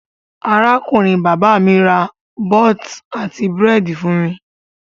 Arákùnrin-bàbá mi ra bọ́t àti búrẹ́dì fún mi.